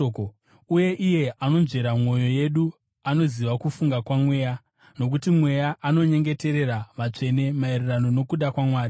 Uye iye anonzvera mwoyo yedu anoziva kufunga kwaMweya, nokuti Mweya anonyengeterera vatsvene maererano nokuda kwaMwari.